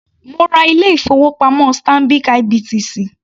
Mo ra ilé ìfowópamọ́ Stanbic IBTC.